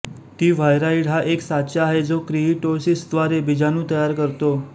T viride हा एक साचा आहे जो किइटोसिसद्वारे बीजाणू तयार करतो